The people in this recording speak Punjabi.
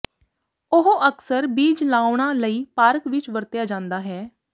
ਉਹ ਅਕਸਰ ਬੀਜ ਲਾਉਣਾ ਲਈ ਪਾਰਕ ਵਿੱਚ ਵਰਤਿਆ ਜਾਦਾ ਹੈ